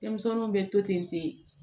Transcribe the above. Denmisɛnninw bɛ to ten